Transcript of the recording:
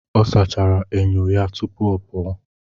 Ọ sachara enyo ya tupu ọ pụọ